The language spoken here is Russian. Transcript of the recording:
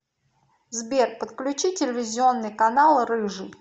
сбер подключи телевизионный канал рыжий